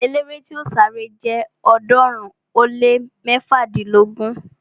Eléré tí yóò sáré nínu erée jẹ ọ̀ọ́dúnrún ó lé mẹ́fádínlógún